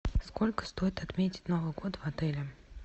сколько стоит отметить новый год в отеле